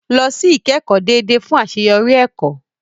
Lọ sí ìkẹ́kọ̀ọ́ déédéé fún àṣeyọrí ẹ̀kọ́.